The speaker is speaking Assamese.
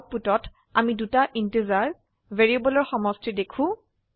আউটপুটত আমি দুটা ইন্টিজাৰ ভ্যাৰিয়েবলৰ সমষ্টি দেখো